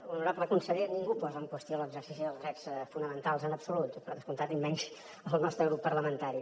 honorable conseller ningú posa en qüestió l’exercici dels drets fonamentals en absolut per descomptat i menys el nostre grup parlamentari